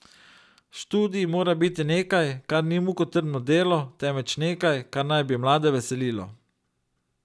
Študij mora biti nekaj, kar ni mukotrpno delo, temveč nekaj, kar naj bi mlade veselilo.